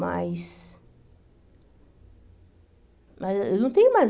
Mas... Mas eu não tenho mais.